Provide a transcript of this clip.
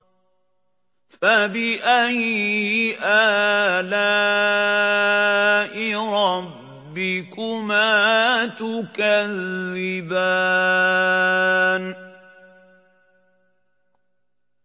فَبِأَيِّ آلَاءِ رَبِّكُمَا تُكَذِّبَانِ